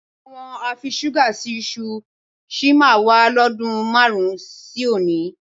Àwọn afiṣúgà se iṣu sì máa wà lọ́dun márùn-ún sí òní